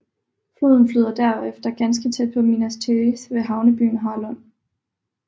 Floden flyder derefter ganske tæt på Minas Tirith ved havnebyen Harlond